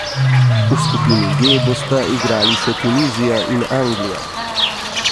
V skupini G bosta igrali še Tunizija in Anglija.